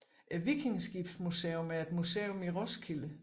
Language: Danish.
Vikingeskibsmuseet er et museum i Roskilde